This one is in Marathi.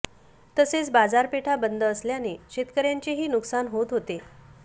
तसेच बाजारपेठा बंद असल्याने शेतकऱ्यांचेही नुकसान होत होते